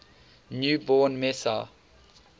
new born messiah